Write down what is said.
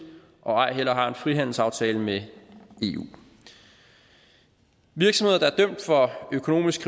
og ej heller har en frihandelsaftale med eu virksomheder der er dømt for økonomisk